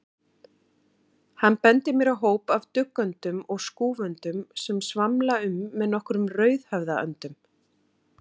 Hann bendir mér á hóp af duggöndum og skúföndum sem svamla um með nokkrum rauðhöfðaöndum.